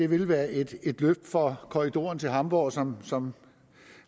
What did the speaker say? vil være et løft for korridoren til hamborg som som